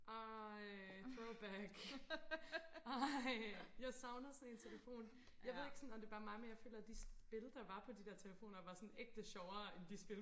ej throwback ej jeg savner sådan en telefon jeg ved ikke sådan om det bare er mig men jeg føler de spil der var på de der telefoner var sådan ægte sjovere end de spil